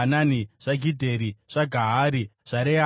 zvaGidheri, zvaGahari, zvaReaya,